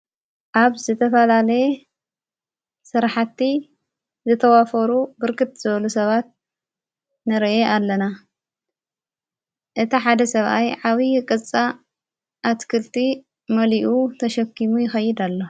ኣብ ዝተፋላለየ ስራሓቲ ዝተዋፈሩ ብርክት ዝበሉ ሰባት ነረኢ ኣለና እታ ሓደ ሰብኣይ ዓብይ ቕጻ ፣ኣትክልቲ መሊኡ ተሸኪሙ ይኸይድ ኣሎ።